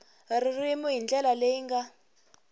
ririmi hi ndlela leyi nga